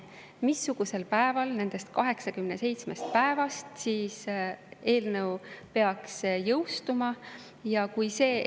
Missugusel päeval nendest 87 päevast siis eelnõu peaks jõustuma?